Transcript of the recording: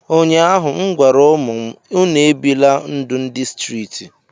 ụnyahụ m gwara ụmụ m, unu ebila ndụ ndị streeti